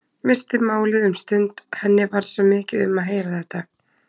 Missti málið um stund, henni varð svo mikið um að heyra þetta.